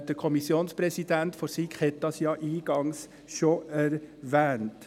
Der Kommissionspräsident der SiK hat das ja eingangs schon erwähnt.